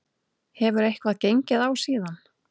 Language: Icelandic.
Hefur eitthvað gengið á síðan?